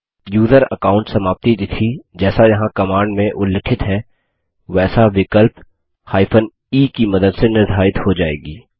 user account समाप्ति तिथि जैसा यहाँ कमांड में उल्लिखित है वैसा विकल्प e की मदद से निर्धारित हो जाएगी